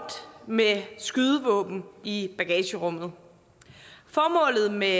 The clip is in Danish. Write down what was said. med skydevåben i bagagerummet formålet med